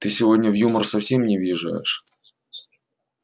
ты сегодня в юмор совсем не въезжаешь